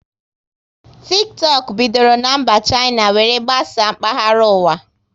Tiktọk bidoro na mba Shaina were gbasaa mkpahara ụwa